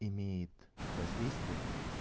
имеет воздействие